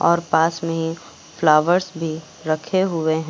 और पास में ही फ्लावर्स भी रखे हुए हैं।